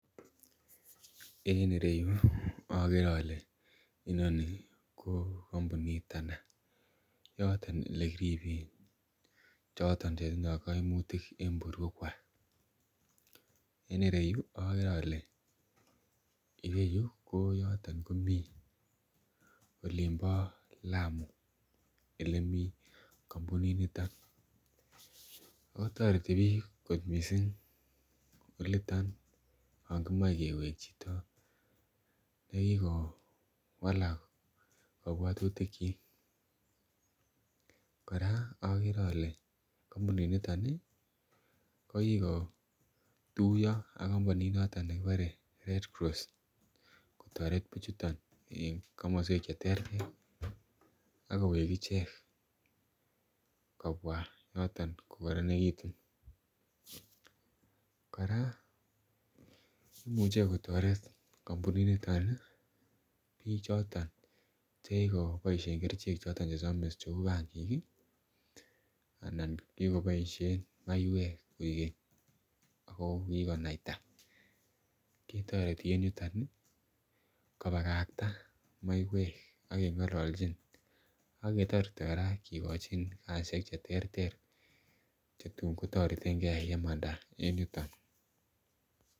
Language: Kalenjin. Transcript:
en ireyu ogere ole inoni koo kompunit anan ko yoton oleginyoen choton chetindoo koimutik en borweek kwaak, en ireyuu ogeree ole ireyuu ko yoton komii olimboo lamu olemii kompunit niton, kotoreti biik kot mising oliton yon kimoee keweek chito negigowalak kobwotutik kyiik, koraaa ogere ole kompunit niton iih kogikotuyoo ak kompunit noton negibore red cross kotoret bichuton en komoswek cheteer ak koweek icheek kobwo yoton kogoronegitun, koraa imuche kotoret kompunit niton iih biik choton chegigoboisheen kerichek choton chesomis kouu pangiik iiih anan chegigoboisheen maiywek koegeny ago kigonaita, kitoreti en yuton iih kobagakta maiyweek ak kengololchin ak ketoreti koraa kigochin kasisyeek cheterter chetun kotoretengee yemanda en yuton